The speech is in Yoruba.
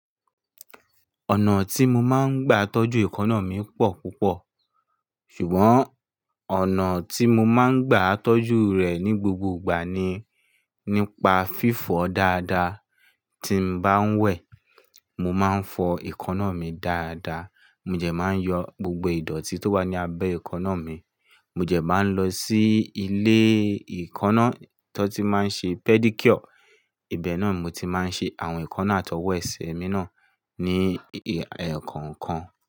Ọ̀nà tí mo máa ń gbà tọ́jú èékánná mi pọ̀ púpọ̀. Ṣùgbọ́n ọ̀nà tí mo máa ń gbà tọ́jú rẹ̀ ní gbogbo ìgbà ni nípa fífọ̀ dáadáa. Tí n bá ń wẹ̀, mo máa ń fọ èékánná mi dáadáa. Mò dẹ máa ń yọ gbogbo ìdọ̀tí tó wà ní abẹ́ èékánná mi. Mò jẹ máa ń lọ sí ilé ìkánná tó ti máa ń ṣe pedicure. Ìbẹ́ náà ni mo ti máa ń ṣe àwọn ìkánná àtọwọ́ ẹsẹ̀ mi náà ní eekan kan.